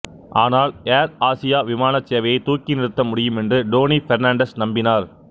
ஆனால் Air Asia விமானச் சேவையைத் தூக்கி நிறுத்த முடியும் என்று டோனி பெர்னாண்டஸ் நம்பினார்